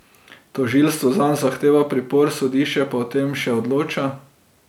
Tožilstvo zanj zahteva pripor, sodišče pa o tem še odloča.